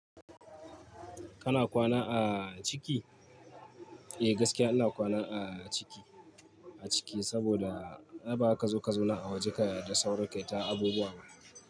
Kana kwana a ciki? Eh gaskiya ana kwana a ciki, a ciki saboda ba ka zo ka zauna a waje ka da sauri ka yi ta abubuwa ba.